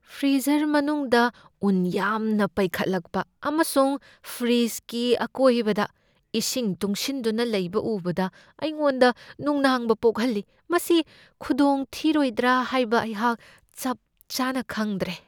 Freezer ꯃꯅꯨꯡꯗ ꯎꯟ ꯌꯥꯝꯅ ꯄꯩꯒꯠꯂꯛꯄ ꯑꯃꯁꯨꯡ ꯐ꯭ꯔꯤꯗ꯭ꯖꯀꯤ ꯑꯀꯣꯏꯕꯗ ꯏꯁꯤꯡ ꯇꯨꯡꯁꯤꯟꯗꯨꯅ ꯂꯩꯕ ꯎꯕꯗ ꯑꯩꯉꯣꯟꯗ ꯅꯨꯡꯅꯥꯡꯕ ꯄꯣꯛꯍꯜꯂꯤ, ꯃꯁꯤ ꯈꯨꯗꯣꯡꯊꯤꯔꯣꯏꯗ꯭ꯔꯥ ꯍꯥꯏꯕ ꯑꯩꯍꯥꯛ ꯆꯞ ꯆꯥꯅ ꯈꯪꯗ꯭ꯔꯦ ꯫